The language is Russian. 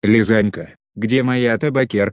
лизанька где моя табакерка